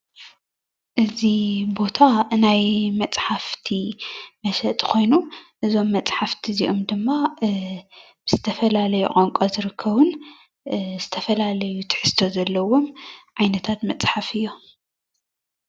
እዚ ቦታ ናይ መፅሓፍቲ መሸጢ ኮይኑ እዞም መፅሓፍቲ እዚኦም ድማ ዝተፈላለዩ ቋንቋ ዝርከቡን ዝተፈላለዩ ትሕዝቶ ዘለዎም ዓይነታት መፅሓፍ እዮም፡፡